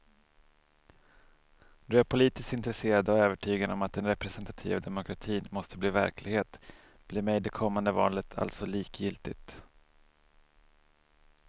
Då jag är politiskt intresserad och övertygad om att den representativa demokratin måste bli verklighet blir mig det kommande valet alltså likgiltigt.